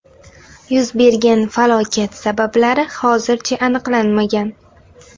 Yuz bergan falokat sabablari hozircha aniqlanmagan.